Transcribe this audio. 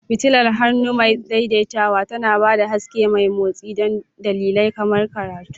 Fitilar hannu mai daidaitawa tana ba da haske mai motsi don dalilai kamar karatu.